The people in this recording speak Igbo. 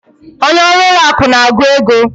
Onye ọrụ ụlọ akụ na-agụ ego.